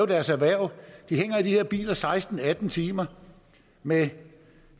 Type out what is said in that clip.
deres erhverv de hænger i de her biler seksten til atten timer med